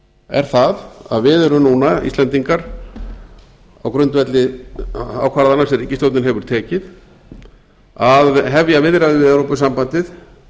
er það að við erum núna íslendingar á grundvelli ákvarðana sem ríkisstjórnin hefur tekið að hefja viðræður við evrópusambandið